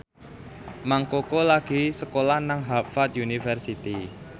Mang Koko lagi sekolah nang Harvard university